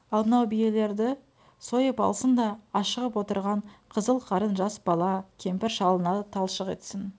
ал мынау ту биелерді сойып алсын да ашығып отырған қызыл қарын жас бала кемпір-шалына талшық етсін